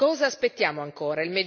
Cosa aspettiamo ancora?